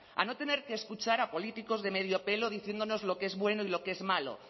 a no tener que escuchar a políticos de medio pelo diciéndonos lo que es bueno y lo que es malo